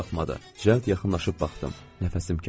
Cəld yaxınlaşıb baxdım.